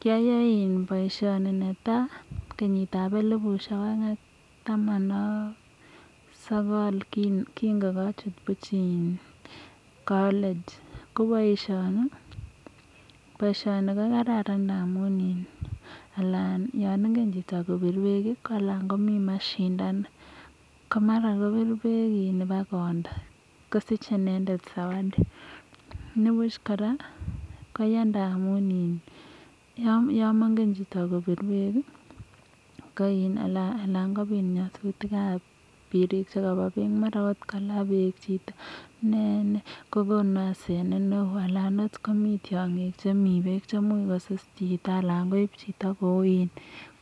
kiyayaei bpisioni kenit ab elpueshe aeng ak sokol kingachut college . ko boishoni kokararan amu ya ingen chitokobir pek komi mashindano ko mara kopir bek ipkondo kosich zawadi . komuch kora yamengen chito kobir pek ana kopit nyasutik ab pek ana kola chito bek ko konu asenet neo anan komi tiongik chemi pek kosus chito ana koib chito